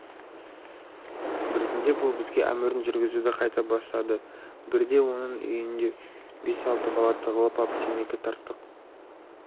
біртіндеп ол бізге әмірін жүргізуді қайта бастады бірде оның үйінде бес-алты бала тығылып ап темекі тарттық